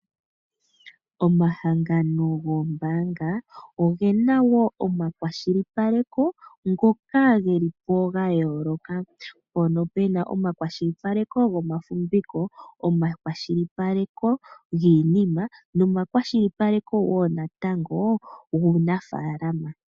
Omahangano goombanga ogena woo omakwashilipaleko ngokaa gelipo gayooloka. mpono pena omakwashilipaleko gomafumbiko omashilipaleko giinima nomakwashilipaleko woo natangoo guunafalama.